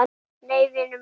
Nei, vinur minn.